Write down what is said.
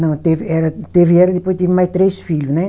Não, teve ela, teve ela e depois tive mais três filhos, né?